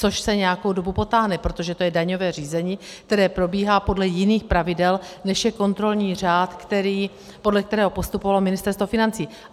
Což se nějakou dobu potáhne, protože to je daňové řízení, které probíhá podle jiných pravidel, než je kontrolní řád, podle kterého postupovalo Ministerstvo financí.